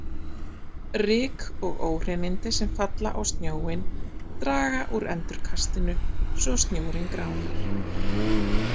Ryk og óhreinindi sem falla á snjóinn draga úr endurkastinu svo snjórinn gránar.